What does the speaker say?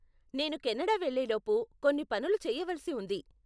నేను కెనడా వెళ్ళేలోపు కొన్ని పనులు చెయ్యవలిసి ఉంది.